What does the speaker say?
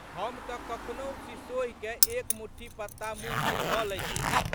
हम तऽ कखनहु शिशोहिकए एक मुट्ठी पत्ता मुँहमे धऽ लैत छियै।